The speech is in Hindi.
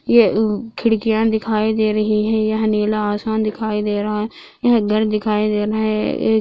ये उ खिड़कियां दिखाई दे रही है यह नीला आसमान दिखाई दे रहा है यह दर दिखाई दे रहे है एक--